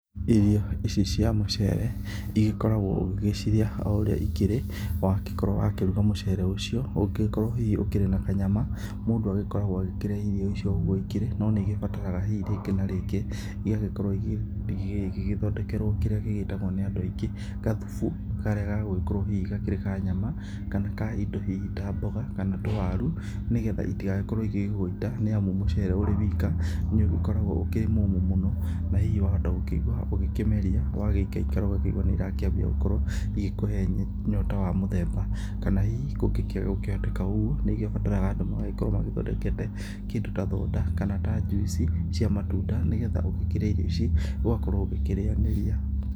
Irio ici cia mũcere, igĩkoragwo ũgĩgĩcirĩa o ũrĩa ikĩrĩ, wagĩkorwo wakĩruga mũcere ũcio, ũngĩgĩkorwo hihi ũgĩkĩrĩ na kanyama, mũndu agĩkoragwo agĩkĩrĩa irio ici o ũguo igĩkĩrĩ, no nĩ igĩbataraga hihi rĩngĩ na rĩngĩ igagĩkorwo igĩgĩthondekerwo kĩrĩa gĩgĩtagwo nĩ andu aingĩ gathubu, karĩa gagugĩkorwo hihi gakĩrĩ ka nyama, kana ka indo hihi ta mboga, kana tũwaru, nĩgetha iti gagĩkorwo igĩgũita, nĩ amu mũcere ũrĩ wika nĩ ũgĩkoragwo ũkĩrĩ mũmũ mũno na hihi wahota gũkĩigua ũgĩkĩmeria ugagĩikaikara ũgakĩigua nĩ irakĩambia gũkorwo igĩkuhe nyota wa mũthemba, kana hihi kũngĩaga gũkĩhoteka ũguo, nĩ ũbataraga andũ magagĩkorwo magĩthondekete kĩndũ ta thonda kana ta njuici cia matunda, nĩgetha ũgĩkĩria irio ici ũgakorwo ũgĩkĩrĩanĩria.